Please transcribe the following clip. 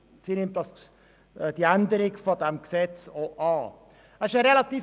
Sie nimmt die Änderung dieses Gesetzes an.